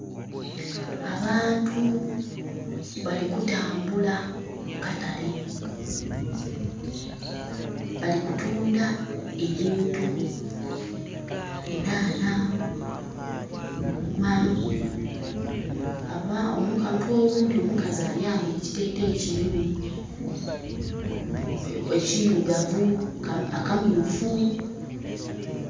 Abantu bali kutambula mu katale, bali kutunda ebintu enhanha, duuma omuntu oghundhi omukazi ayambaile ekiteteeyi kirimu ekirugavu, akamyufu.